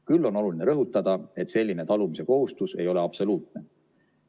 Küll on oluline rõhutada, et selline talumiskohustus ei ole absoluutne.